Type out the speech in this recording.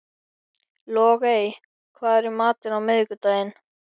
Logey, hvað er í matinn á miðvikudaginn?